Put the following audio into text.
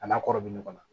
A n'a kɔrɔ bɛ ɲɔgɔn na